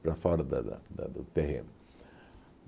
Para fora da da da do terreno.